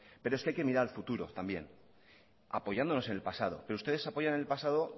pero es que hay que mirar al futuro también apoyándonos en el pasado pero ustedes apoyan el pasado